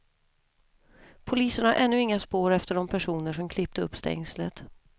Polisen har ännu inga spår efter de personer som klippte upp stängslet.